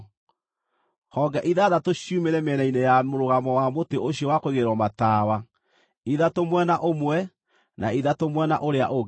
Honge ithathatũ ciumĩre mĩena-inĩ ya mũrũgamo wa mũtĩ ũcio wa kũigĩrĩrwo matawa, ithatũ mwena ũmwe na ithatũ mwena ũrĩa ũngĩ.